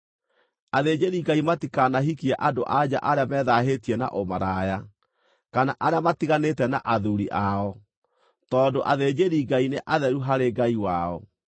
“ ‘Athĩnjĩri-Ngai matikanahikie andũ-a-nja arĩa methaahĩtie na ũmaraya, kana arĩa matiganĩte na athuuri ao, tondũ athĩnjĩri-Ngai nĩ atheru harĩ Ngai wao.